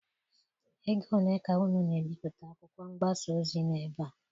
Ego ole ka unu na-ebipụta akwụkwọ mgbasa ozi n'ebe a?